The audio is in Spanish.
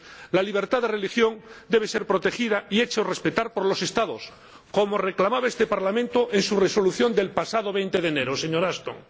La libertad de religión debe ser protegida y hecha respetar por los Estados, como reclamaba este Parlamento en su Resolución del pasado 20 de enero, señora Ashton.